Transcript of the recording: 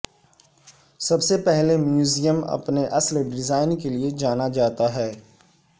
سب سے پہلے میوزیم اپنے اصل ڈیزائن کے لئے جانا جاتا ہے